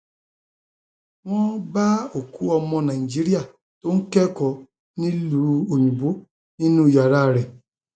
wọn um bá òkú ọmọ nàìjíríà tó ń kẹkọọ nílùú òyìnbó nínú yàrá um rẹ